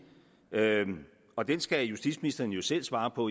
og den skal justitsministeren jo selv svare på